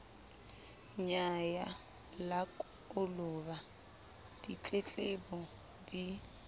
nyaya la koloba ditletlebo di